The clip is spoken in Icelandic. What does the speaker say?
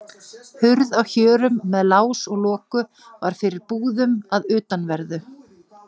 Hurð á hjörum með lás og loku var fyrir búðum að utanverðu.